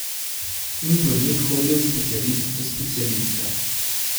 In bolnik hodi od specialista do specialista.